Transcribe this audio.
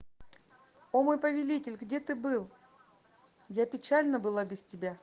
о мой повелитель где ты был для печальна была без тебя